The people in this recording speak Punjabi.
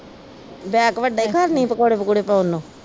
ਬੈੱਗ ਵੱਡਾ ਈ ਖਰਨੀ ਪਕੌੜੇ ਪਕੁੜੇ ਪਾਉਣ ਨੂੰ।